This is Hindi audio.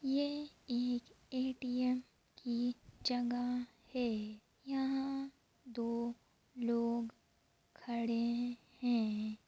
यह एक ए.टी.एम. की जगह है यहां दो लोग खड़े हैं।